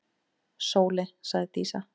Sóley, sagði Dísa.